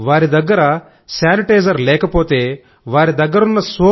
వారి దగ్గర శానిటైజేషన్ లేకపోతే వారి దగ్గర ఉన్న